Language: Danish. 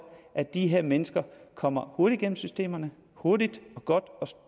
at de her mennesker kommer hurtigt igennem systemerne og hurtigt godt